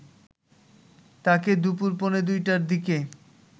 তাকে দুপুর পৌনে ২ টার দিকে